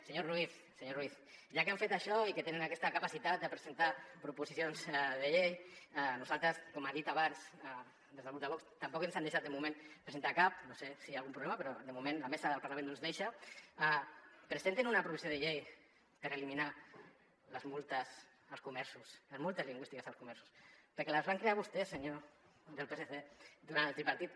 senyor ruiz senyor ruiz ja que han fet això i que tenen aquesta capacitat de presentar proposicions de llei a nosaltres com han dit abans des del grup de vox tampoc ens han deixat de moment presentar ne cap no sé si hi ha algun problema però de moment la mesa del parlament no ens deixa presentin una proposició de llei per eliminar les multes als comerços les multes lingüístiques als comerços perquè les van crear vostès senyors del psc durant el tripartit